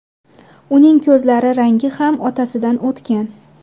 Uning ko‘zlari rangi ham otasidan o‘tgan.